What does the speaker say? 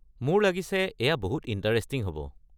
মোৰ লাগিছে এয়া বহুত ইণ্টাৰেষ্টিং হ'ব।